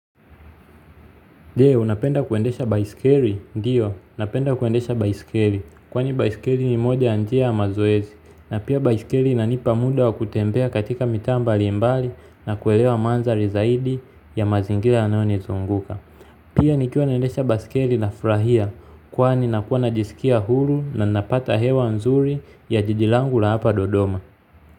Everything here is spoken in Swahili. Je, unapenda kuendesha baiskeli? Ndiyo, napenda kuendesha baiskeli. Kwani baiskeli ni moja ya njia ya mazoezi. Na pia baiskeli inanipa muda wa kutembea katika mitaa mbalimbali na kuelewa mandhari zaidi ya mazingira yanayonizunguka. Pia nikiwa naendesha baiskeli nafurahia. Kwani nakuwa najisikia huru na ninapata hewa nzuri ya jiji langu la hapa dodoma.